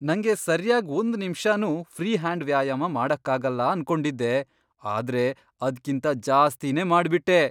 ನಂಗೆ ಸರ್ಯಾಗ್ ಒಂದ್ ನಿಮ್ಷನೂ ಫ್ರೀ ಹ್ಯಾಂಡ್ ವ್ಯಾಯಾಮ ಮಾಡಕ್ಕಾಗಲ್ಲ ಅನ್ಕೊಂಡಿದ್ದೆ, ಆದ್ರೆ ಅದ್ಕಿಂತ ಜಾಸ್ತಿನೇ ಮಾಡ್ಬಿಟ್ಟೆ!